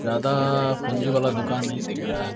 जादा आ पूंजी वाला दुकान नहीं दिख रहा है।